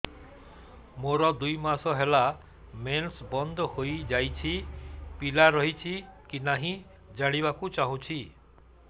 ମୋର ଦୁଇ ମାସ ହେଲା ମେନ୍ସ ବନ୍ଦ ହେଇ ଯାଇଛି ପିଲା ରହିଛି କି ନାହିଁ ଜାଣିବା କୁ ଚାହୁଁଛି